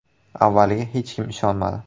Avvaliga hech kim ishonmadi.